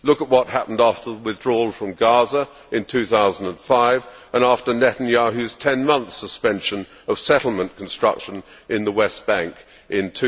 Look at what happened after the withdrawal from Gaza in 2005 and after Netanyahu's ten month suspension of settlement construction in the West Bank in